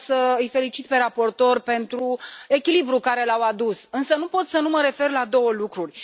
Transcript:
Vreau să îi felicit pe raportori pentru echilibrul pe care l au adus, însă nu pot să nu mă refer la două lucruri.